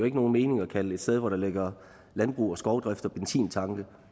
ikke nogen mening at kalde et sted hvor der ligger landbrug og skovdrift og benzintanke